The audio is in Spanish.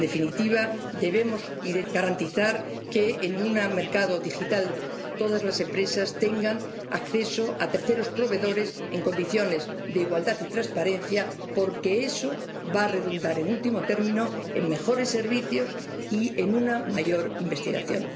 En definitiva, debemos garantizar que en un mercado digital todas las empresas tengan acceso a terceros proveedores en condiciones de igualdad y transparencia, porque eso va a redundar, en último término, en mejores servicios y en una mayor investigación.